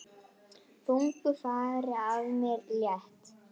Þungu fargi af mér létt.